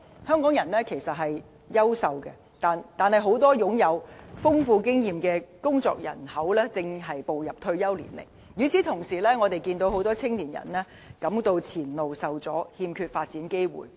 香港人是優秀的，但很多擁有豐富經驗的工作人口正步入退休年齡，與此同時，我們看到很多青年人感到前路受阻，欠缺發展機會。